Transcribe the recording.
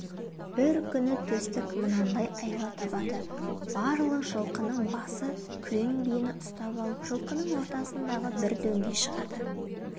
бір күні төстік мынандай айла табады барлық жылқының басы күрең биені ұстап алып жылқының ортасындағы бір дөңге шығады